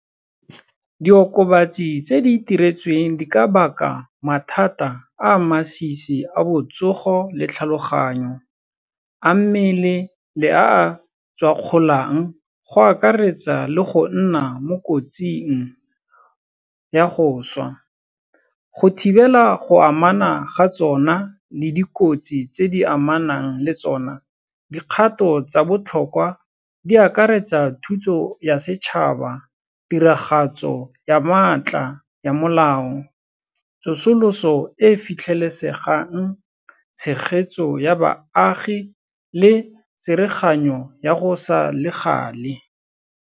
Diokobatsi tse di itiretsweng di ka baka mathata a a masisi a botsogo le tlhaloganyo, a mmele le a a tshwakgolang, go akaretsa le go nna mo kotsing ya go swa. Go thibela go amana ga tsona le dikotsi tse di amanang le tsona, dikgato tsa botlhokwa di akaretsa thuso ya setšhaba, tiragatso ya maatla ya molao, tsosoloso e e fitlhelesegang, tshegetso ya baagi le tsereganyo ya go sa le gale.